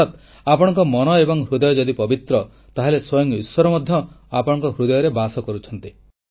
ଅର୍ଥାତ୍ ଆପଣଙ୍କ ମନ ଏବଂ ହୃଦୟ ଯଦି ପବିତ୍ର ତାହେଲେ ସ୍ୱୟଂ ଈଶ୍ୱର ମଧ୍ୟ ଆପଣଙ୍କ ହୃଦୟରେ ବାସ କରୁଛନ୍ତି